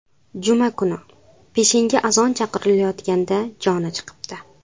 Juma kuni peshinga azon chaqirilayotganda joni chiqibdi.